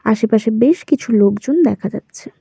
আশেপাশে বেশ কিছু লোকজন দেখা যাচ্ছে।